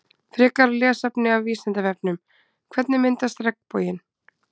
Frekara lesefni af Vísindavefnum Hvernig myndast regnboginn?